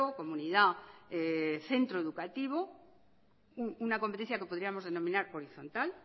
comunidad centro educativo una competencia que podríamos denominar horizontal